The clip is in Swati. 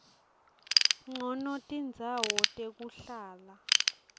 ncono tindzawo tekuhlala